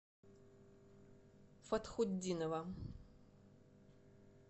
фатхутдинова